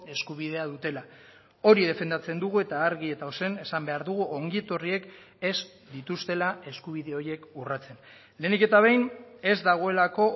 eskubidea dutela hori defendatzen dugu eta argi eta ozen esan behar dugu ongi etorriek ez dituztela eskubide horiek urratzen lehenik eta behin ez dagoelako